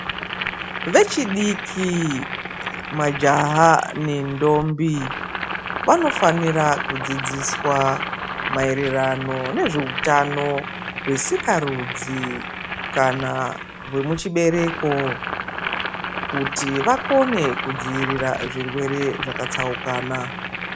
Vechidiki ,majaha nendombi vanofanira kudzidziswa maererano nezveutano hwesikarudzi kana hwemuchibereko kuti vakone kudziirira zvirwere zvakatsaukana